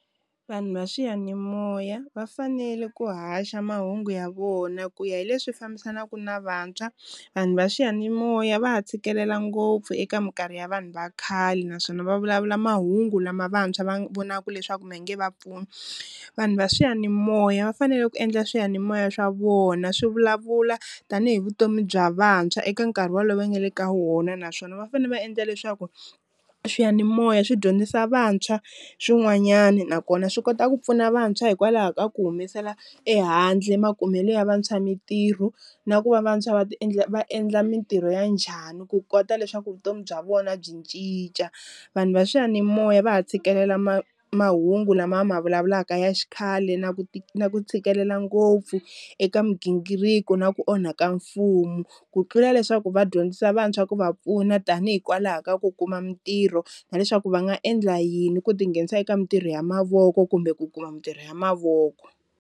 Vanhu va swiyanimoya va fanele ku haxa mahungu ya vona ku ya hi leswi fambisanaka na vantshwa, vanhu va swiyanimoya va ha tshikelela ngopfu eka minkarhi ya vanhu va khale naswona va vulavula mahungu lama vantshwa va vonaka leswaku ma nge va pfuni, vanhu va swiyanimoya va fanele ku endla swiyanimoya swa vona swi vulavula tanihi vutomi bya vantshwa eka nkarhi wolowo va nga le ka wona, naswona va fanele va endla leswaku swiyanimoya swi dyondzisa vantshwa swin'wanyani nakona swi kota ku pfuna vantshwa hikwalaho ka ku humesela ehandle makumelo ya vantshwa mintirho na ku va vantshwa va endla va endla mintirho ya njhani ku kota leswaku vutomi bya vona byi cinca, vanhu va swiyanimoya va ha tshikelela ma mahungu lama ma vulavulaka ya xikhale na ku na ku tshikelela ngopfu eka migingiriko na ku onhaka mfumo, ku tlula leswaku va dyondzisa vantshwa ku va pfuna tanihi hikwalaho ka ku kuma mintirho na leswaku va nga endla yini ku tinghenisa eka mintirho ya mavoko kumbe ku kuma mintirho ya mavoko.